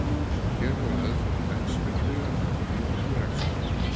Hér hefur aðeins verið rætt stuttlega um eyðingu regnskóga.